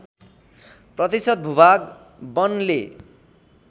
प्रतिशत भूभाग वनले